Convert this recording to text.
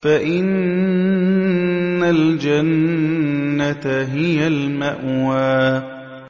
فَإِنَّ الْجَنَّةَ هِيَ الْمَأْوَىٰ